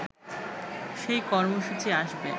সেই কর্মসূচি আসবে